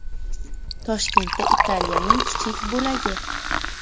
Toshkentda Italiyaning kichik bo‘lagi.